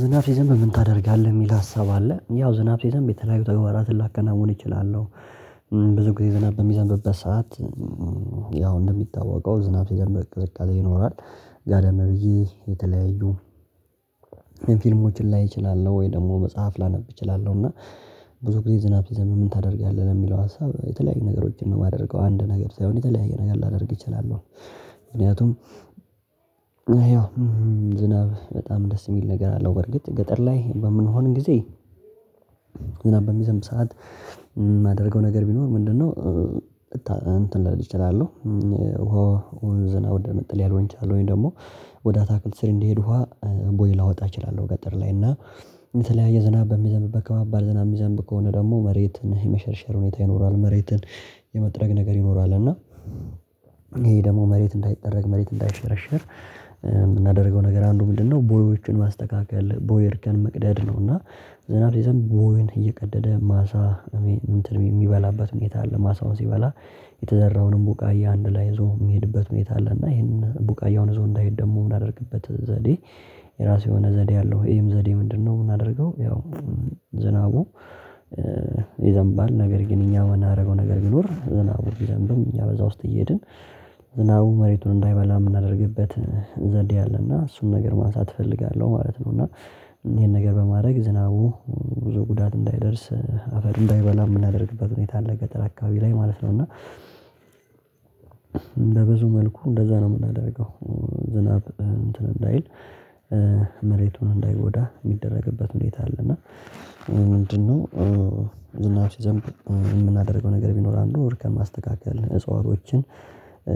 ዝናብ ሲዘንብ ምን ታደርጋለህ የሚል ሀሳብ አለ? ያው ዝናብ ሲዘንብ የተለያዩ ተግባራትን ላከናውን እችላለሁ። ብዙ ጊዜ ዝናብ በሚዘንብበት ሰዓት ያው እንደሚታወቀው ዝናብ ሲዘንብ ቅዝቃዜ ይኖራል። ጋደም ብዬ የተለያዩ ፊልሞችን ላይ እችላለሁ ወይ ደግሞ መጽሐፍ ላነብ እችላለሁ። እና ብዙ ጊዜ ዝናብ ሲዘንብ ምን ታደርጋለህ ለሚለው ሀሳብ ነው የተለያዩ ነገሮችን ነው የማደርገው አንድ ነገር ሳይሆን የተለያየ ነገር ላደርግ እችላለሁ። ምክንያቱም ይኸው ዝናብ በጣም ደስ የሚል ነገር አለው። በርግጥ ገጠር ላይ በምንሆን ጊዜ ዝናብ በሚዘንብ ሰዓት የማደርገው ነገር ቢኖር ምንድነው? እንትን ልል እችላለሁ ወደ መጠለያ ልሆን እችላለሁ ወይ ደግሞ ወደ አታክልት ስር እንዲሄድ ውሃ ቦይ ላወጣ እችላለሁ። ገጠር ላይ እና የተለያየ ዝናብ በሚዘንብበት ከባባድ ዝናብ የሚዘንብ ከሆነ ደግሞ መሬትን የመሸርሸር ሁኔታ ይኖራል መሬትን የመጥረግ ነገር ይኖራል። እና ይሄ ደግሞ መሬት እንዳይጠረግ መሬት እንዳይሸረሸር የምናደርገው ነገር አንዱ ምንድነው ቦዮቹን ማስተካከል ቦይ እርከን መቅደድ ነው። እና ዝናብ ይዘን ቦይን እየቀደደ ማሳ እንትን የሚበላበት ሁኔታ አለ ማሳውን ሲበላ የተዘራውንም ቡቃያ አንድ ላይ ይዞ የሚሄድበት ሁኔት አለ። እና ይሄን ቡቃያውን ይዞ እንዳይሄድ ደግሞ ምናደርግበት ዘዴ የራሱ የሆነ ዘዴ አለው ይሄም ዘዴ ምንድነው? የምናደርገው ያው ዝናቡ ይዘንባል ነገር ግን እኛ የምናደርገው ነገር ቢኖር ዝናቡን ቢዘንብም እኛ በዛ ውስጥ እየሄድን ዝናቡ መሬቱን እንዳይበላ የምናደርግበት ዘዴ አለ እና እሱን ነገር ማንሳት እፈልጋለሁ ማለት ነው። እና ይሄን ነገር በማድረግ ዝናቡ ብዙ ጉዳት እንዳያደርስ አፈር እንዳይበላ የምናደርግበት ሁኔታ አለ ገጠር አካባቢ ላይ ማለት ነው። እና እንደ ብዙ መልኩ እንደዛ ነው የምናደርገው ዝናብ እንትን እንዳይል መሬቱን እንዳይጎዳ የሚደረግበት ሁኔታ አለ። እና ምንድነው ዝናብ ሲዘንብ የምናደርገው ነገር ቢኖር አንዱ እርከን ማስተካከል እጽዋቶችን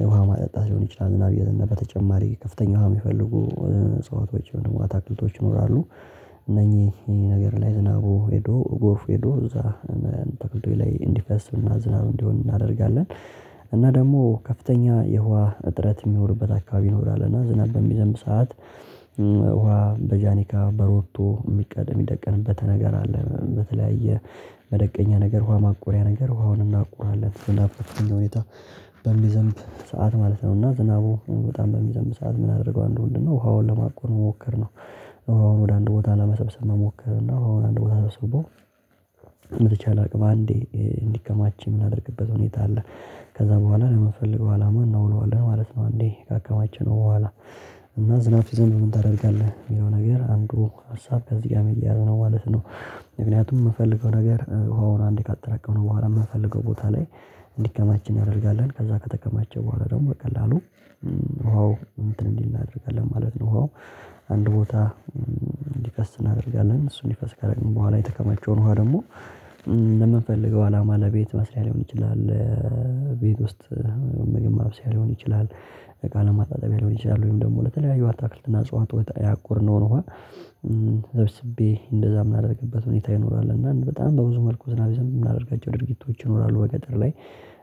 ውሃ ማጠጣት ሊሆን ይችላል። ዝናብ ይሄድና በተጨማሪ ከፍተኛ ውሃ የሚፈልጉ እጽዋቶች ወይም ደግሞ አታክልቶች ይኖራሉ እነኚህ ነገር ላይ ዝናቡ ሄዶ ጎርፉ ሄዶ እዛ አታክልቶች ላይ እንዲፈስ እና ዝናብ እንዲሆን እናደርጋለን። እና ደግሞ ከፍተኛ የውሃ እጥረት በሚኖርበት አካባቢ ነው ይኖራልና እና ዝናብ በሚዘንብ ሰዓት ውሃ በጃኒካ በሮቶ የሚቀደም የሚደቀንበት ነገር አለ በተለያየ መደቀኛ ነገር ውሃ ማቆሪያ ነገር ውሃውን እናቆራለን ዝናብ ፍጥነት ሁኔታ በሚዘንብ ሰዓት ማለት ነው። እና ዝናቡ በጣም በሚዘንብ ሰዓት ምን ምናደርገው አንዱ ምንድነው ውሃውን ለማቆር መሞከር ነው። ውሃውን ወደ አንድ ቦታ ለመሰብሰብ መሞከርና ውሃውን አንድ ቦታ ስበው በተቻለ አቅም አንዴ እንዲከማች የምናደርግበት ሁኔታ አለ ከዛ በኋላ ነው ለምንፈልገው አላማ እናውለዋለን ማለት ነው። አንዴ ካከማቸነው በኋላ እና ዝናብ ሲዘንብ ምን ታደርጋለህ የሚለው ነገር አንዱ ሀሳብ ከዚህ ጋር ሚያያዝ ነው ማለት ነው። ምክንያቱም የምፈልገው ነገር ውሃውን አንዴ ካጠራቀምነው ነው በኋላ የምፈንልገው ቦታ ላይ እንዲከማች እናደርጋለን ከዛ ከተከማቸ በኋላ ደግሞ በቀላሉ ውሃው እንትን እንዲል እናደርጋለን ማለት ነው ውሃው አንድ ቦታ እንዲፈስ እናደርጋለን እሱን እንዲፈስ ካደረግን በኋላ የተከማቸውን ውሃ ደግሞ ለምንፈልገው አላማ ለቤት መስሪያ ሊሆን ይችላል። ለቤት ውስጥ ምግብ ማብሰያ ሊሆን ይችላል። እቃ ለማጣጣቢያ ሊሆን ይችላል ወይም ደግሞ ለተለያዩ አታክልትና አጽዋት ያቆርነውን ውሃ ሰብስቤ እንደዛ የምናደርግበት ሁኔታ ይኖራል እና በጣም በብዙ መልኩ ዝናብ ሲዘንብ የምናደርጋቸው ድርጊቶች ይኖራሉ። በገጠር ላይ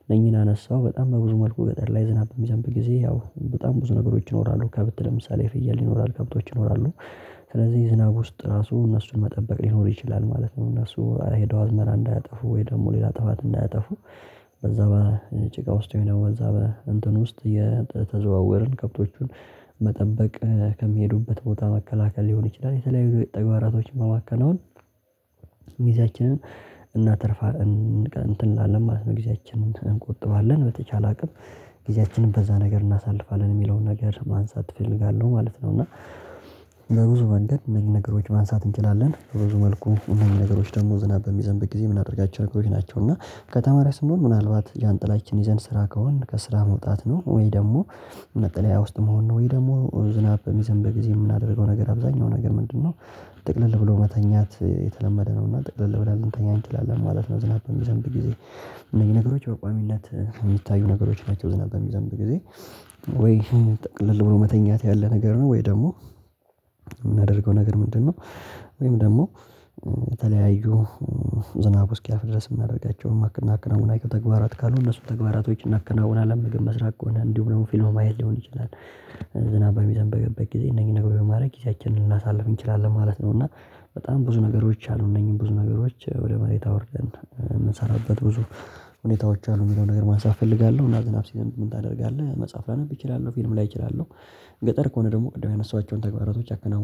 እነኚህን አነሳሁ በጣም በብዙ መልኩ ገጠር ላይ ዝናብ በሚዘንብ ጊዜ ያው በጣም ብዙ ነገሮች ይኖራሉ ከብት ለምሳሌ ፍያል ይኖራል ከብቶች ይኖራሉ ስለዚህ ዝናብ ውስጥ ራሱ እነሱን መጠበቅ ሊኖር ይችላል ማለት ነው። እነሱ ሄደው አዝመራ እንዳያጠፉ ወይ ደግሞ ሌላ ጥፋት እንዳያጠፉ በዛ በጭቃ ውስጥ የሆነ በዛ በእንትን ውስጥ እየተዘዋወርን ከብቶቹን መጠበቅ ከሚሄዱበት ቦታ መከላከል ሊሆን ይችላል የተለያዩ ተግባራቶችን በማከናወን ጊዜአችንን እናተርፋለን እንትን እንላለን ማለት ነው። ጊዜያችንን እንቆጥባለን በተቻለ አቅም ጊዜያችንን በዛ ነገር እናሳልፋለን የሚለውን ነገር ማንሳት እፈልጋለሁ ማለት ነው። እና በብዙ መንገድ እነዚህን ነገሮች ማንሳት እንችላለን በብዙ መልኩ እነዚህን ነገሮች ደግሞ ዝናብ በሚዘንብ ጊዜ የምናደርጋቸው ነገሮች ናቸው። እና ከተማ ላይ ስንሆን ምናልባት ዣንጥላችን ይዘን ስራ ከሆንን ከስራ መውጣት ነው ወይ ደግሞ መጠለያ ውስጥ መሆን ነው ወይ ደግሞ ዝናብ በሚዘንብ ብዙጊዜ የምናደርገው ነገር አብዛኛው ነገር ምንድነው? ጥቅልል ብሎ መተኛት የተለመደ ነውና ጥቅልል ወደ ልንተኛ እንችላለን ማለት ነው። ዝናብ በሚዘንብ ጊዜ እነዚህ ነገሮች በቋሚነት የሚታዩ ነገሮች ናቸው ዝናብ በሚዘንብ ጊዜ ወይ ጥቅልል መተኛት ያለ ነገር ነው ወይ ደግሞ የምናደርገው ነገር ምንድነው ወይም ደግሞ በተለያዩ ዝናቡ እስኪያፍ ድረስ የምናደርጋቸው እና ምናከናውናቸው ተግባራት ካሉ እነሱ ተግባራቶች እናከናውናለን ምግብ መስራት ከሆነ እንዲሁ ደግሞ ፊልም ማየት ሊሆን ይችላል። ዝናባችን በሚዘንብበት ጊዜ እነዚህን ነገሮችን ማድረግ ጊዜያችንን ልናሳልፍ እንችላለን ማለት ነው። እና በጣም ብዙ ነገሮች አሉ እነኚህን ብዙ ነገሮች ወደ መሬት ወርደን የምንሰራበት ብዙ ሁኔታዎች አሉ የሚለውን ነገር ማንሳት እፈልጋለሁ። እና ዝናብ ሲዘንብ ምን ታደርጋለህ? መጽሐፍ ላነብ እችላለሁ ፊልም ላይ እችላለሁ። ገጠር ከሆነ ደግሞ ቅድም ያነሳኋቸውን ተግባራቶች አከናውናል